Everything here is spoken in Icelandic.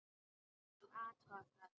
Ég skal athuga það.